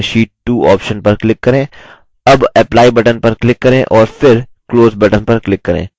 अब apply button पर click करें और फिर close button पर click करें